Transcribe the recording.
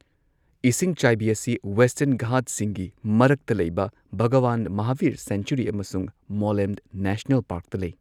ꯏꯁꯤꯡꯆꯥꯏꯕꯤ ꯑꯁꯤ ꯋꯦꯁꯇꯔꯟ ꯘꯥꯠꯁꯤꯡꯒꯤ ꯃꯔꯛꯇ ꯂꯩꯕ ꯚꯒꯋꯥꯟ ꯃꯍꯥꯕꯤꯔ ꯁꯦꯡꯆꯨꯔꯤ ꯑꯃꯁꯨꯡ ꯃꯣꯂꯦꯝ ꯅꯦꯁꯅꯦꯜ ꯄꯥꯔꯛꯇ ꯂꯩ꯫